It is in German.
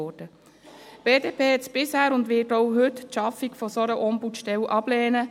Die BDP hat bisher und wird auch heute die Schaffung einer solchen Ombudsstelle ablehnen.